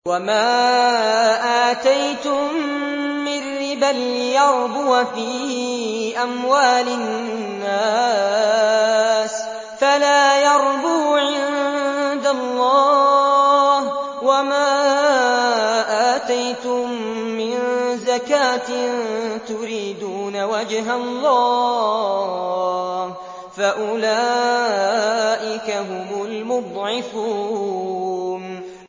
وَمَا آتَيْتُم مِّن رِّبًا لِّيَرْبُوَ فِي أَمْوَالِ النَّاسِ فَلَا يَرْبُو عِندَ اللَّهِ ۖ وَمَا آتَيْتُم مِّن زَكَاةٍ تُرِيدُونَ وَجْهَ اللَّهِ فَأُولَٰئِكَ هُمُ الْمُضْعِفُونَ